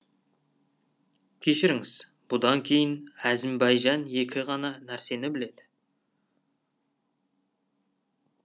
кешіріңіз бұдан кейін әзімбайжан екі ғана нәрсені біледі